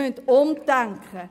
Wir müssen umdenken.